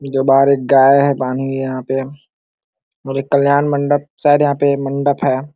जो बाहर एक गाय है पानी है यहाँ पे और ये कल्याण मंडप शायद यहाँ पे मंडप है।